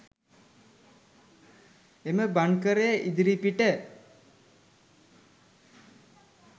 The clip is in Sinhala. එම බංකරය ඉදිරිපිට